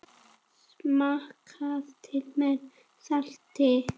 Smakkað til með salti.